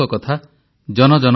ମୋର ପ୍ରିୟ ଦେଶବାସୀଗଣ ନମସ୍କାର